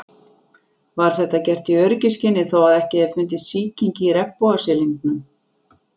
Var þetta gert í öryggisskyni þó að ekki hefði fundist sýking í regnbogasilungnum.